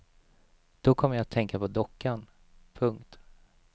Då kom jag att tänka på dockan. punkt